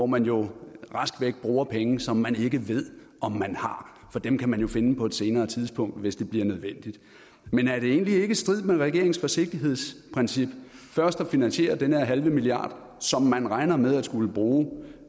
man jo rask væk bruger penge som man ikke ved om man har for dem kan man jo finde på et senere tidspunkt hvis det bliver nødvendigt men er det egentlig ikke i strid med regeringens forsigtighedsprincip først at finansiere den her halve milliard som man regner med at skulle bruge